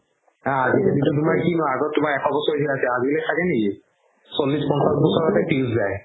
হা আগতো তুমাৰ এশ বছৰীয়া আছিলে আজিকালি থাকে নেকি চল্লিশ পঞ্চাশ বছৰতে fuse যাই